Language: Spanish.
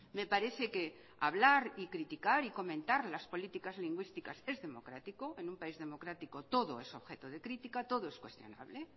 me parece que hablar y criticar y comentar las políticas lingüísticas es democrático en un país democrático todo es objeto de crítica todo es cuestionable